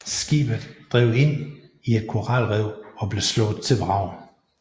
Skibet drev ind i et koralrev og blev slået til vrag